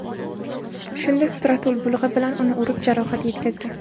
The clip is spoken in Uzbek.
Shunda Stratul bolg‘a bilan uni urib, jarohat yetkazgan.